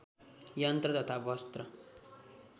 यन्त्र तथा वस्त्र